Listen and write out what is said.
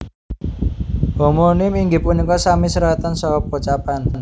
Homonim inggih punika sami seratan saha pocapan